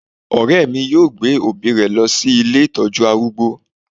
Ọ̀rẹ́ mi yóò gbé òbí rẹ̀ lọ sí ilé ìtọ́jú arúgbó